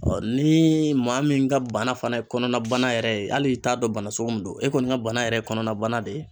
ni maa min ka bana fana ye kɔnɔna bana yɛrɛ ye hali i t'a dɔn bana sugu min don e kɔni ka bana yɛrɛ kɔnɔna bana de ye.